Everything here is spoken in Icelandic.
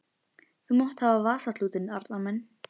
Þú mátt hafa vasaklútinn, Arnar minn!